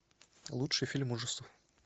лучший фильм ужасов